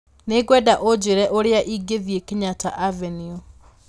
Nĩ ngwenda ũnjĩre ũrĩa ingĩthiĩ Kenyatta Avenue